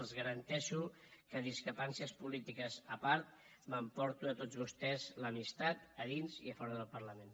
els garanteixo que discrepàncies polítiques a part m’emporto de tots vostès l’amistat a dins i a fora del parlament